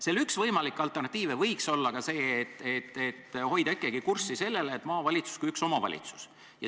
Selle üks võimalik alternatiiv võiks olla ka see, et hoida ikkagi kurssi sellele, et maavalitsus kui üks omavalitsus.